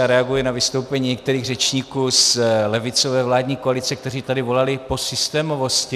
Já reaguji na vystoupení některých řečníků z levicové vládní koalice, kteří tady volali po systémovosti.